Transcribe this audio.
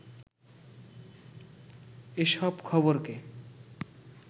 এ সব খবরকে